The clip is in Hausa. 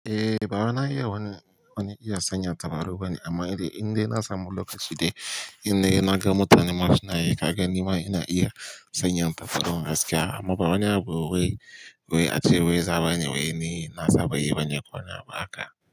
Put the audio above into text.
Eh, bawai na iya wani, wani iya sanya tabaru bane amma idan, idan na samu lokaci dai, idai na ga mutane ma suna yi, ka ga nima ina iya sanya tabararu gaskiya amma ba wani abu wai, wai ace wai za bani, wai ni na sa, ba yi bane kowani abu haka.